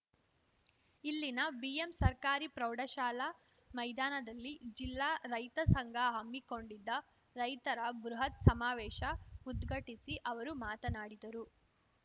ಇಲ್ಲಿನ ಬಿಎಂ ಸರ್ಕಾರಿ ಪ್ರೌಢಶಾಲಾ ಮೈದಾನದಲ್ಲಿ ಜಿಲ್ಲಾ ರೈತ ಸಂಘ ಹಮ್ಮಿಕೊಂಡಿದ್ದ ರೈತರ ಬೃಹತ್‌ ಸಮಾವೇಶ ಉದ್ಘಟಿಸಿ ಅವರು ಮಾತನಾಡಿದರು